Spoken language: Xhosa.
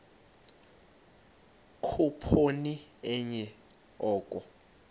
khuphoni enye oko